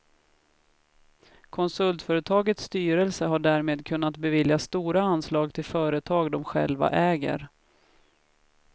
Konsultföretagets styrelse har därmed kunnat bevilja stora anslag till företag de själva äger.